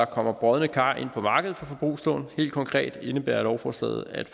kommer brodne kar ind på markedet for forbrugslån helt konkret indebærer lovforslaget at